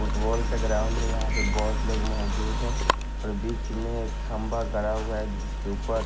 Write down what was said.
football का ground है यहां पे बहोत लोग मौजूद है और बीच में एक खंभा गड़ा हुआ है जिसके ऊपर--